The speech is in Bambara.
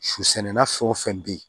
Susɛnna fɛn o fɛn bɛ yen